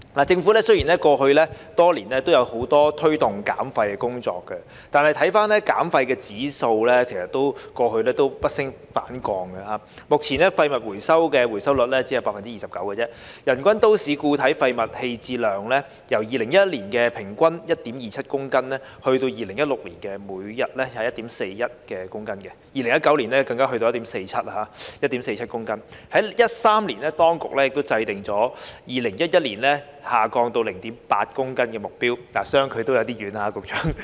政府雖然過去多年來都有很多推動減廢的工作，但減廢指標不升反降，目前廢物回收的回收率只有 29%， 人均都市固體廢物棄置量由2011年的平均 1.27 公斤，增至2016年每日 1.41 公斤 ，2019 年更上升至 1.47 公斤，與2013年當局制訂2022年下降至 0.8 公斤的目標，相距也有點遠，局長。